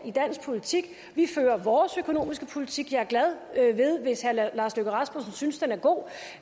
i dansk politik vi fører vores økonomiske politik og jeg er glad hvis herre lars løkke rasmussen synes den er god